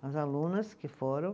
as alunas que foram.